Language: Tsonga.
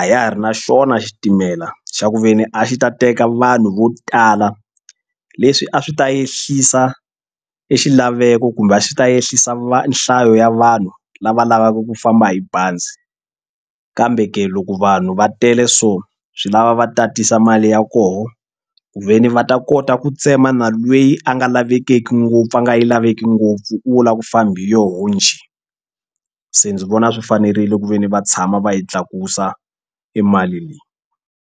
a ya ha ri na xona xitimela xa ku ve ni a xi ta teka vanhu vo tala leswi a swi ta ehlisa e xilaveko kumbe a xi ta ehlisa va nhlayo ya vanhu lava lavaka ku famba hi bazi kambe ke loko vanhu va tele so swi lava va tatisa mali ya kona ku ve ni va a ta kota ku tsema na lweyi a nga lavekeki ngopfu a nga yi laveki ngopfu u wo lava ku famba hi yoho njhe se ndzi vona swi fanerile ku ve ni va tshama va yi tlakusa i mali leyi.